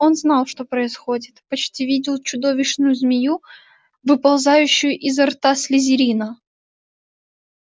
он знал что происходит почти видел чудовищную змею выползающую изо рта слизерина